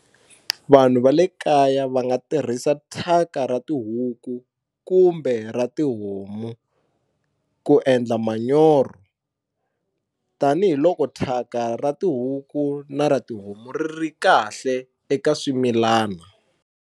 Vanhu va le kaya va nga tirhisa thyaka ra tihuku kumbe ra tihomu ku endla manyoro tanihiloko thyaka ra tihuku na ra tihomu ri ri kahle eka swimilana.